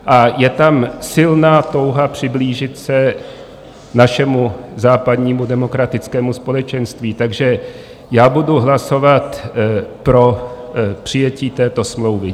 A je tam silná touha přiblížit se našemu západnímu demokratickému společenství, takže já budu hlasovat pro přijetí této smlouvy.